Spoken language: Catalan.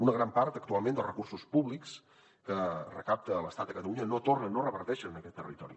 una gran part actualment dels recursos públics que recapta l’estat a catalunya no tornen no reverteixen en aquest territori